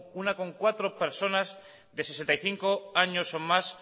coma cuatro personas de sesenta y cinco años o más